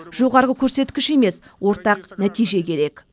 жоғарғы көрсеткіш емес ортақ нәтиже керек